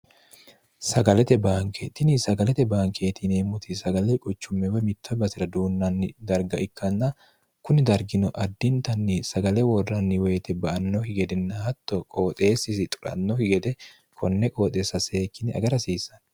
sagalete baankeetini sagalete baankeetineemmoti sagale quchummeewe mitta basira duunnanni darga ikkanna kunni dargino addintanni sagale worranni woyite ba annohi gedinnahatto qooxeessisi xurannohi gede konne qooxeessa seekkine agarhsiissa